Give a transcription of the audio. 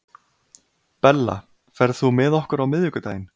Bella, ferð þú með okkur á miðvikudaginn?